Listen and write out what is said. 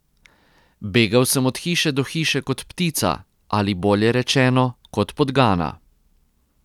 Begal sem od hiše do hiše kot ptica, ali bolje rečeno, kot podgana.